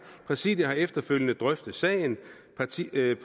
præsidiet har efterfølgende drøftet sagen præsidiet